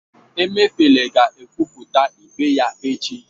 Emeifele ga-ekwupụta ikpe ya echi